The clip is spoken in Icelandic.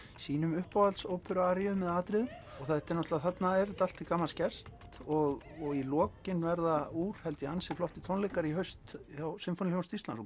sínum uppáhalds óperu aríum eða atriðum þarna er þetta allt til gamans gert og og í lokin verða úr ansi flottir tónleikar í haust hjá Sinfóníuhljómsveit Íslands